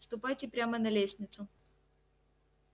ступайте прямо на лестницу